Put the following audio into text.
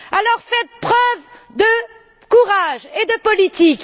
Alors, faites preuve de courage et de politique!